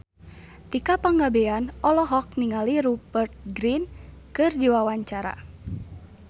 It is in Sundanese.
Tika Pangabean olohok ningali Rupert Grin keur diwawancara